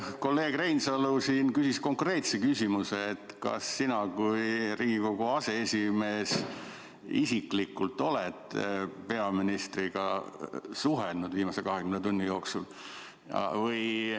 Kolleeg Reinsalu küsis konkreetse küsimuse, kas sina kui Riigikogu aseesimees isiklikult oled peaministriga suhelnud viimase 20 tunni jooksul.